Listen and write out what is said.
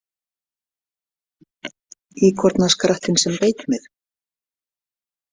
Íkornaskrattinn sem beit mig